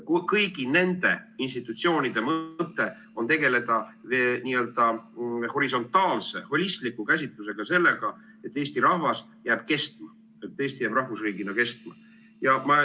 Kõigi nende institutsioonide mõte on tegeleda n-ö horisontaalse holistliku käsitlusega sellest, et Eesti rahvas jääb kestma, et Eesti jääb rahvusriigina kestma.